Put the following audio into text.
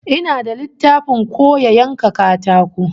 Ina da littafin koya yanka katako